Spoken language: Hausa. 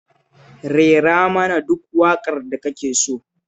Rera mana duk waƙar da kake so